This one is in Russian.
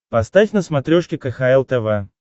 поставь на смотрешке кхл тв